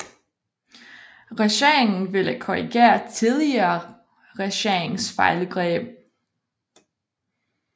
Regeringen ville korrigere tidligere regeringers fejlgreb